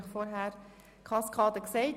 Ich habe Ihnen die Kaskade vorhin erklärt.